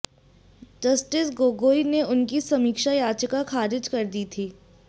justice Gogoi ने उनकी समीक्षा याचिका ख़ारिज कर दी थी